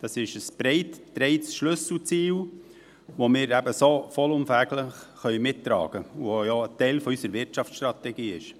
Es ist ein breit getragenes Schlüsselziel, das wir so eben vollumfänglich mittragen können und das ja ein Teil unserer Wirtschaftsstrategie ist.